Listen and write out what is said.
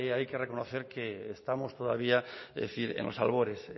hay que reconocer que estamos todavía es decir en los albores